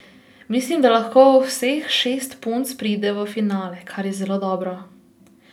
Mislim, da lahko vseh šest punc pride v finale, kar je zelo dobro.